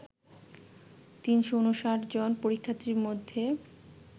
৩৫৯ জন পরীক্ষার্থীর মধ্যে